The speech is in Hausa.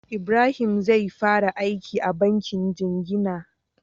Ibrahim zai fara aiki a bankin jingina